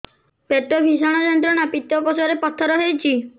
ପେଟ ଭୀଷଣ ଯନ୍ତ୍ରଣା ପିତକୋଷ ରେ ପଥର ହେଇଚି